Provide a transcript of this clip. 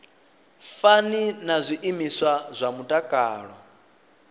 fani na zwiimiswa zwa mutakalo